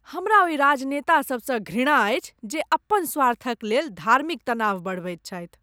हमरा ओहि राजनेता सभसँ घृणा अछि जे अपन स्वार्थक लेल धार्मिक तनाव बढ़बैत छथि।